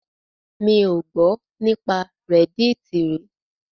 Mi ò gbọ́ nípa reddit rí.